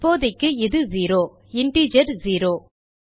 இப்போதைக்கு இது zero integer zero